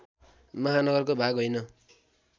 महानगरको भाग होइन